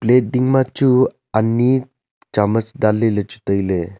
plat ding ma chu ani chamuch dan ley ley chu tai ley.